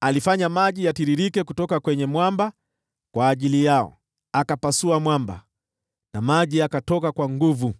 alifanya maji yatiririke kutoka kwenye mwamba kwa ajili yao; akapasua mwamba na maji yakatoka kwa nguvu.